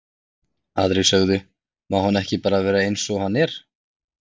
Aðrir sögðu, má hann ekki bara vera eins og hann er?